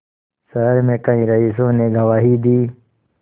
शहर में कई रईसों ने गवाही दी